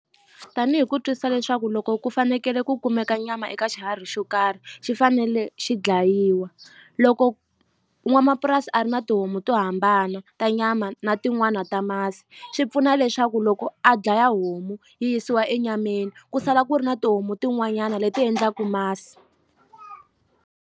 Tanihi ku twisisa leswaku loko ku fanekele ku kumeka nyama eka xiharhi xo karhi xi fanele xi dlayiwa loko n'wamapurasi a ri na tihomu to hambana ta nyama na tin'wani ta masi swi pfuna leswaku loko a dlaya homu yi yisiwa enyameni ku sala ku ri na tihomu tin'wanyana leti endlaku masi.